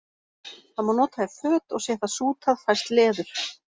Það má nota í föt og sé það sútað fæst leður.